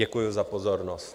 Děkuji za pozornost.